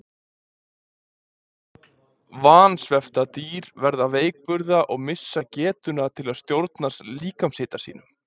Vansvefta dýr verða veikburða og missa getuna til að stjórna líkamshita sínum.